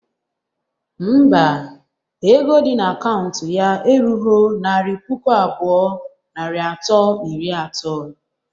Ḿbà, ego di na akaụntụ ya erughọ naira puku abụọ, narị atọ na iri ato